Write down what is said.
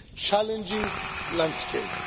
challenging landscape.